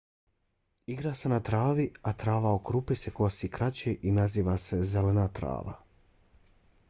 igra se na travi a trava oko rupe se kosi kraće i naziva se zelena trava